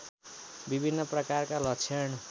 विभिन्न प्रकारका लक्षण